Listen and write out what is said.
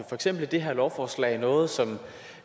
eksempel i det her lovforslag noget som